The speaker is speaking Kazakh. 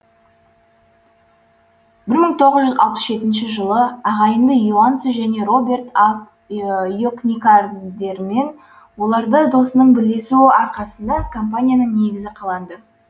бір мың тоғыз жүз алпыс жетінші жылы ағайынды йонасо және роберт аф йокникадермен олардың досының бірлесуі арқасында компанияның негізі қаланды